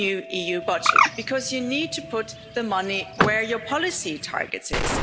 new EU budget, because you need to put the money where your policy targets is.